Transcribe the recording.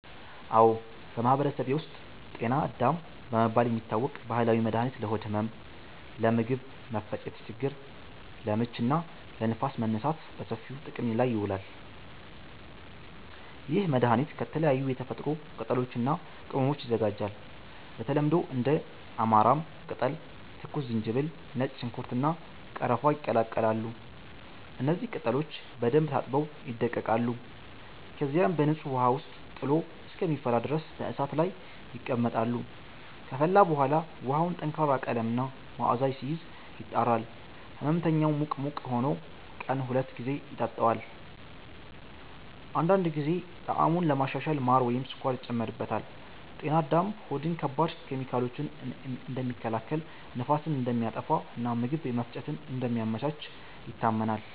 አዎ፣ በማህበረሰቤ ውስጥ “ጤና አዳም” በመባል የሚታወቅ ባህላዊ መድኃኒት ለሆድ ህመም፣ ለምግብ መፈጨት ችግር (ለምች) እና ለንፋስ መነሳት በሰፊው ጥቅም ላይ ይውላል። ይህ መድኃኒት ከተለያዩ የተፈጥሮ ቅጠሎች እና ቅመሞች ይዘጋጃል። በተለምዶ እንደ አማራም ቅጠል፣ ትኩስ ዝንጅብል፣ ነጭ ሽንኩርት፣ እና ቀረፋ ይቀላቀላሉ። እነዚህ ቅጠሎች በደንብ ታጥበው ይደቀቃሉ፣ ከዚያም በንጹህ ውሃ ውስጥ ጥሎ እስከሚፈላ ድረስ በእሳት ላይ ይቀመጣሉ። ከፈላ በኋላ ውሃው ጠንካራ ቀለም እና መዓዛ ሲይዝ፣ ይጣራል። ሕመምተኛው ሙቅ ሙቅ ሆኖ ቀን ሁለት ጊዜ ይጠጣዋል። አንዳንድ ጊዜ ጣዕሙን ለማሻሻል ማር ወይም ስኳር ይጨመርበታል። “ጤና አዳም” ሆድን ከባድ ኬሚካሎች እንደሚከላከል፣ ንፋስን እንደሚያጠፋ እና የምግብ መፈጨትን እንደሚያመቻች ይታመናል።